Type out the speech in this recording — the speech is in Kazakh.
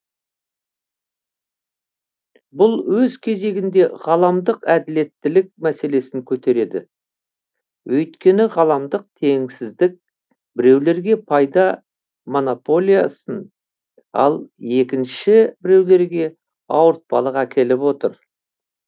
бүл өз кезегінде ғаламдық әділеттілік мәселесін көтереді өйткені ғаламдық теңсіздік біреулерге пайда монополиясын ал екінші біреулерге ауыртпалық әкеліп отыр